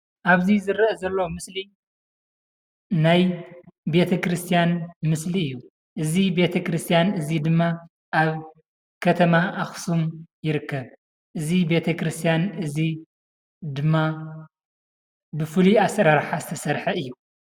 ኣብዚ ዝርአ ዘሎ ምስሊ ናይ ቤተክርስትያን ምስሊ እዩ። እዚ ቤተ ክርስትያን እዚ ድማ ኣብ ከተማ ኣኽሱም ይርከብ። እዚ ቤተክርስትያን እዚ ድማ ብፉሉይ ኣሰራርሓ ዝተሰርሐ እዩ።